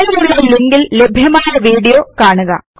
താഴെയുള്ള ലിങ്കില് ലഭ്യമായ വീഡിയോ കാണുക